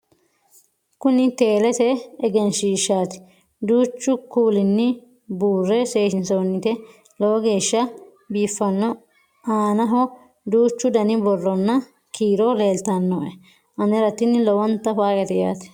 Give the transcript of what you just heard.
kuni teelete egenshshiishati duuchu kuulini buurre seesinisoonite lowo geeshsha biiffanno aanaho duuchu dani borronna kiiro leeltannoe anera tini lowonta faayyate yaate